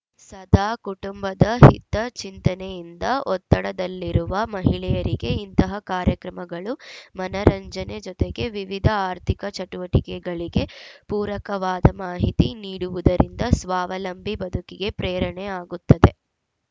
ಸದಾ ಕುಟುಂಬದ ಹಿತಚಿಂತನೆಯಿಂದ ಒತ್ತಡದಲ್ಲಿರುವ ಮಹಿಳೆಯರಿಗೆ ಇಂತಹ ಕಾರ್ಯಕ್ರಮಗಳು ಮನರಂಜನೆ ಜೊತೆಗೆ ವಿವಿಧ ಆರ್ಥಿಕ ಚಟುವಟಿಕಗಳಿಗೆ ಪೂರಕವಾದ ಮಾಹಿತಿ ನೀಡುವುದರಿಂದ ಸ್ವಾವಲಂಬಿ ಬದುಕಿಗೆ ಪ್ರೇರಣೆ ಆಗುತ್ತದೆ